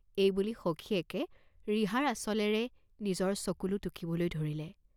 এই বুলি সখীয়েকে ৰিহাৰ আঁচলেৰে নিজৰ চকুলো টুকিবলৈ ধৰিলে।